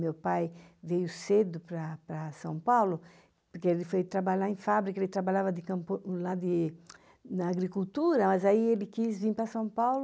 Meu pai veio cedo para para São Paulo, porque ele foi trabalhar em fábrica, ele trabalhava de campo lá de... na agricultura, mas aí ele quis vir para São Paulo.